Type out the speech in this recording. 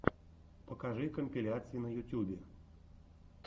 покажи компиляции на ютюбе